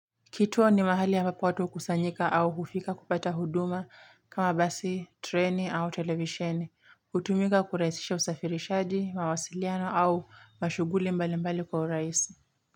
Kituo ni mahali ambapo watu hukusanyika au hufika kupata huduma kama basi, treni au televisheni. Hutumika kurahisisha usafirishaji, mawasiliano au mashughuli mbali mbali kwa urahisi.